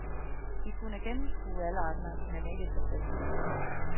De kunne gennemskue alle andre, men ikke sig selv.